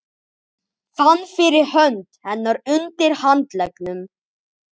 Fann fyrir hönd hennar undir handleggnum.